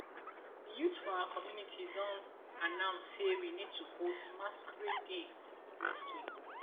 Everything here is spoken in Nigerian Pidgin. the youths for our community don announce say we need to host masquerade day next week